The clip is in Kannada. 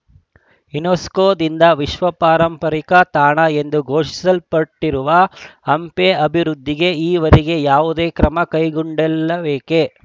ಯುನೆಸ್ಕೋದಿಂದ ವಿಶ್ವ ಪಾರಂಪರಿಕ ತಾಣ ಎಂದು ಘೋಷಿಸಲ್ಪಟ್ಟಿರುವ ಹಂಪಿ ಅಭಿವೃದ್ಧಿಗೆ ಈವರೆಗೆ ಯಾವುದೇ ಕ್ರಮ ಕೈಗೊಂಡಿಲ್ಲವೇಕೆ